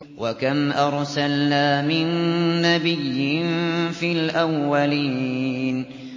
وَكَمْ أَرْسَلْنَا مِن نَّبِيٍّ فِي الْأَوَّلِينَ